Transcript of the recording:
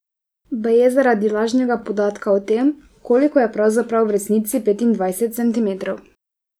Baje zaradi lažnega podatka o tem, koliko je pravzaprav v resnici petindvajset centimetrov.